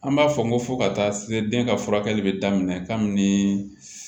An b'a fɔ n ko fo ka taa se den ka furakɛli bɛ daminɛ kami ni